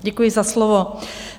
Děkuji za slovo.